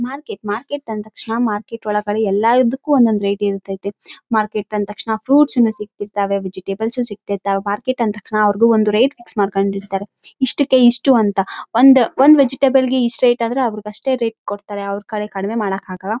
ಇದರಲ್ಲಿ ಟಮೋಟೊ ಹಣ್ಣು ಎಲೆಕೋಸ ಬಾಳೆ ಹಣ್ಣು ಹಾಗೆ ಚಿಕ್ಕ ಚಿಕ್ಕ ಆಪಲ್ ಗಳು ಈರುಳ್ಳಿ--